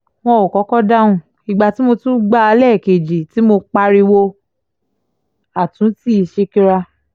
wọn ò kọ́kọ́ dáhùn ìgbà tí mo tún gbà á lẹ́ẹ̀kejì tí mo pariwo àtúntì síkíríà